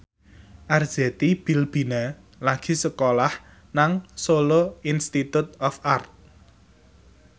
Arzetti Bilbina lagi sekolah nang Solo Institute of Art